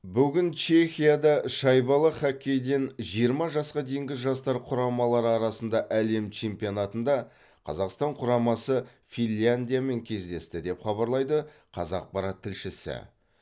бүгін чехияда шайбалы хоккейден жиырма жасқа дейінгі жастар құрамалары арасында әлем чемпионатында қазақстан құрамасы финляндиямен кездесті деп хабарлайды қазақпарат тілшісі